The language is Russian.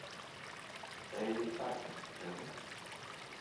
элли паркер покажи